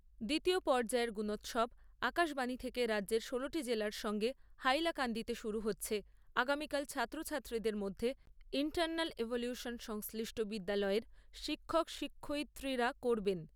দ্বিতীয় পর্যায়ের গুণোৎসব আকাশবাণী থেকে রাজ্যের ষোলোটি জেলার সঙ্গে হাইলাকান্দিতে শুরু হচ্ছে আগামীকাল ছাত্রছাত্রীদের মধ্যে সংশ্লিষ্ট বিদ্যালয়ের শিক্ষক শিক্ষয়িত্রীরা করবেন।